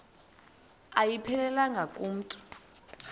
ayiphelelanga ku mntu